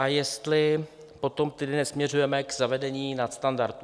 A jestli potom tedy nesměřujeme k zavedení nadstandardů.